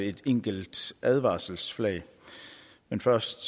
et enkelt advarselsflag men først